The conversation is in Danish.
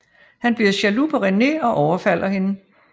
Han bliver jaloux på René og overfalder hende